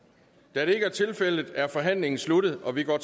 da det ikke er tilfældet er forhandlingen sluttet og vi går